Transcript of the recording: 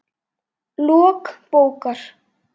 Lok bókar